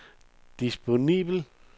disponibel